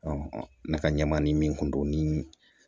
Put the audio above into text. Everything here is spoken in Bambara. ne ka ɲɛmaa ni min kun don ni